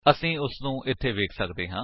ਅਸੀ ਉਸਨੂੰ ਇੱਥੇ ਵੇਖ ਸੱਕਦੇ ਹਾਂ